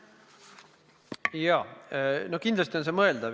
Jaa, kindlasti on see mõeldav.